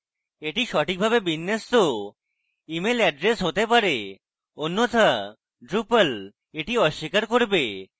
এটি সঠিকভাবে বিন্যস্ত email address হতে হবে অন্যথা drupal এটি অস্বীকার করবে